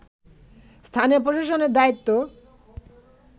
স্থানীয় প্রশাসনের দায়িত্ব